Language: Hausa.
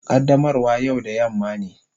Qaddamarwa yau da yamma ne.